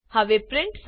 હવે પ્રિન્ટ